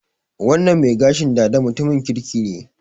Wannan mai gashin dada mutumin kirki ne.